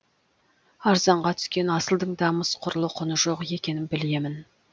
арзанға түскен асылдың да мыс құрлы құны жоқ екенін білемін